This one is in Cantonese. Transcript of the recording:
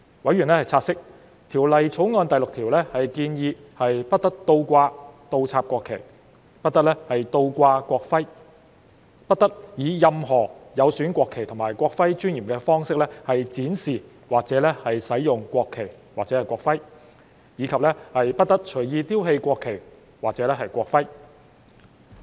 委員察悉，《條例草案》第6條建議不得倒掛、倒插國旗，不得倒掛國徽；不得以任何有損國旗或國徽尊嚴的方式展示或使用國旗或國徽；以及不得隨意丟棄國旗或國徽。